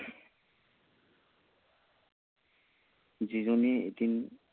যিজনীয়ে এদিন